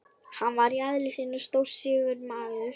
Hann var í eðli sínu stórstígur maður.